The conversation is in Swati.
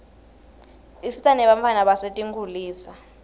isita nebantfwana basetinkitulisa